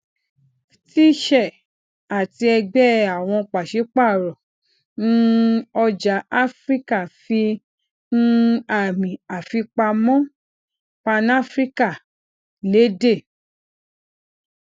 ftse àti ẹgbẹ àwọn pasipaaro um ọjà afiríka fi um àmì àfipamọ panafrican lede